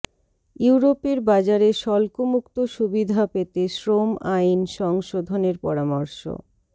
ইউরোপের বাজারে শুল্কমুক্ত সুবিধা পেতে শ্রম আইন সংশোধনের পরামর্শ